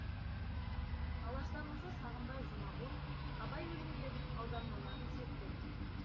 алаштанушы сағымбай жұмағұл абай өлеңдерінің аудармаларын зерттеп жүр